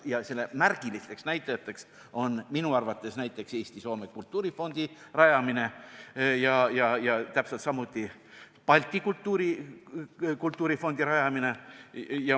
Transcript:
Ja selle märgilised näitajad on minu arvates Eesti-Soome Kultuurifondi rajamine ja täpselt samuti Balti Kultuurifondi rajamine.